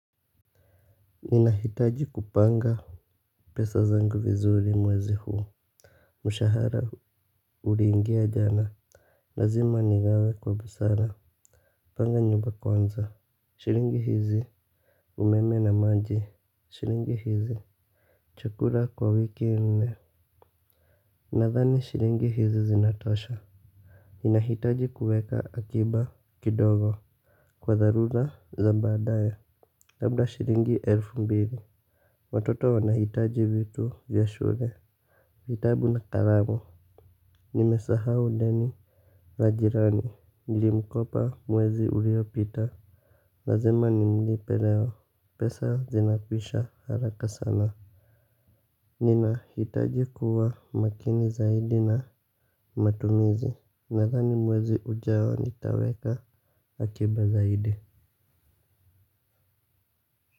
Ninahitaji kupanga pesa zangu vizuri mwezi huu. Mshahara uliingia jana. Lazima nigawe kwa busara. Panga nyumba kwanza. Shilingi hizi umeme na maji shilingi hizi chukula kwa wiki nne. Nathani shilingi hizi zinatosha. Ninahitaji kuweka akiba kidogo. Kwa tharura za baadaye. Labda shilingi elfu mbili. Watoto wanahitaji vitu vya shule. Vitabu na kalamu. Nimesahau deni la jirani. Nilimkopa mwezi uliopita. Lazima nimlipe leo. Pesa zinakwisha haraka sana. Ninahitaji kuwa makini zaidi na matumizi. Nadhani mwezi ujao nitaweka akiba zaidi.